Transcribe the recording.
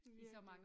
Virkelig